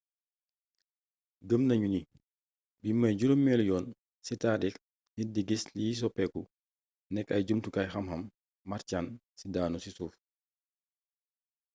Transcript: gëmm nañu ni bii mooy juroomélu yoon ci taarix nit di giss liy soppeeku nekk ay jumtukaayu xamxam martian yu daanu ci suuf